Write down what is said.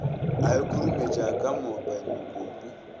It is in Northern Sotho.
a ikhurumetša ka mapai mokopu